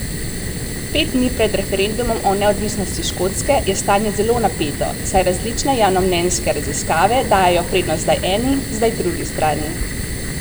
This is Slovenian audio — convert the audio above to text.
Pet dni pred referendumom o neodvisnosti Škotske je stanje zelo napeto, saj različne javnomnenjske raziskave dajejo prednost zdaj eni, zdaj drugi strani.